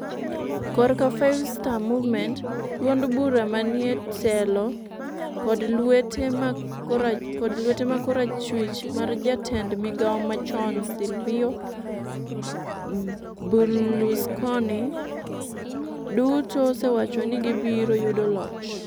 korka Five Star Movement, duond bura manietelo, kod lwete ma korachwich mar jatend migawo machon Silvio Berlusconi, duto osewacho ni gibiro yudo loch.